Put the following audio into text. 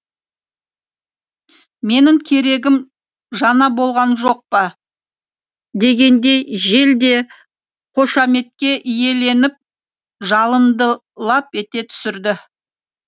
менің керегім жаңа болған жоқ па дегендей жел де қошаметке иеленіп жалынды лап ете түсірді